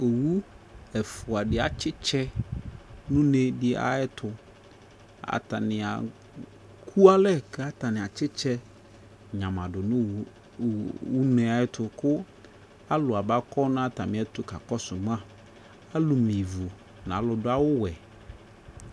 Owu ɛfua de atsetsɛ no une de ayeto Atanea ku alɛ ka atane atsetsɛ nyamado no owu une ayeto ko alu aba kɔ na atame ɛto ka kɔso maAlu me ivu na alu do awuwɛ